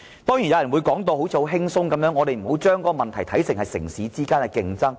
當然有人會說得很輕鬆，說我們不要把問題看成是城市之間的競爭。